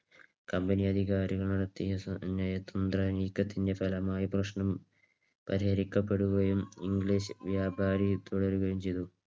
Company അധികാരികൾ നടത്തിയ നയതന്ത്ര നീക്കത്തിന്റെ ഫലമായി പ്രശ്നം പരിഹരിക്കപ്പെടുകയും ഇംഗ്ലീഷ് വ്യാപാരം തുടരുകയും ചെയ്തു.